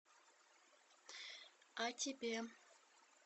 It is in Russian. а тебе